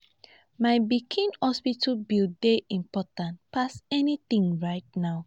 my pikin hospital bill dey important pass anything right now